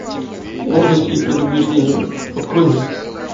гордость и предубеждение открой мне